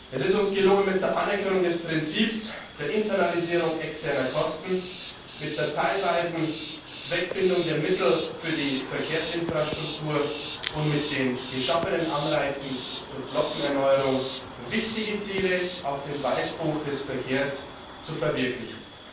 Es ist uns gelungen, mit der Anerkennung des Prinzips der Internalisierung externer Kosten, mit der teilweisen Zweckbindung der Mittel für die Verkehrsinfrastruktur und mit den geschaffenen Anreizen zur Flottenerneuerung wichtige Ziele aus dem Weißbuch des Verkehrs zu verwirklichen.